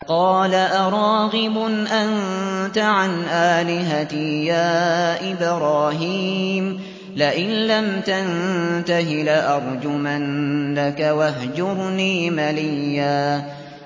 قَالَ أَرَاغِبٌ أَنتَ عَنْ آلِهَتِي يَا إِبْرَاهِيمُ ۖ لَئِن لَّمْ تَنتَهِ لَأَرْجُمَنَّكَ ۖ وَاهْجُرْنِي مَلِيًّا